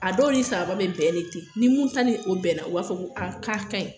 A dɔw ni sababa be bɛn de ten ni mun ta ni o bɛnna o b'a fɔ ko a ka kaɲi